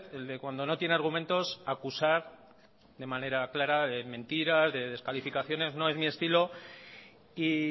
el de cuando no tiene argumentos acusar de manera clara de mentiras de descalificaciones no es mi estilo y